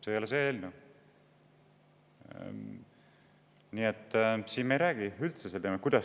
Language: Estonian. See ei ole see eelnõu, me ei räägi siin üldse sel teemal.